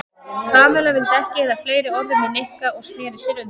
Kamilla vildi ekki eyða fleiri orðum í Nikka og snéri sér undan.